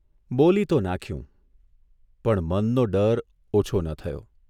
બોલી તો નાંખ્યું, પણ મનનો ડર ઓછો ન થયો.